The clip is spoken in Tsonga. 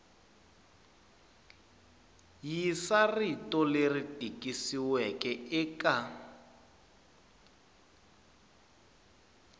yisa rito leri tikisiweke eka